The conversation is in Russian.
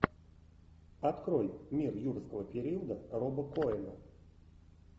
открой мир юрского периода роба коэна